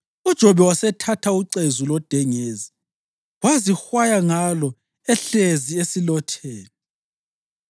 UJobe wasethatha ucezu lodengezi wazihwaya ngalo ehlezi esilotheni.